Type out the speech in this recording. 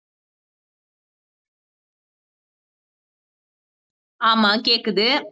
ஆமா கேக்குது